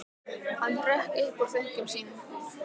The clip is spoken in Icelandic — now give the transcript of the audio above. Hann hrökk upp úr þönkum sínum.